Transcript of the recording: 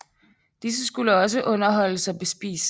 Disse skulle også underholdes og bespises